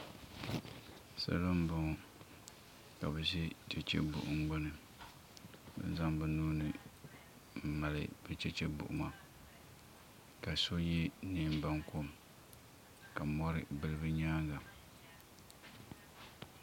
Salo n boŋo ka bi ʒi chɛchɛ buɣum gbuni n zaŋ bi nuuni n mali bi chɛchɛ buɣuma ka so yɛ neen bankom ka mori bili bi nyaanga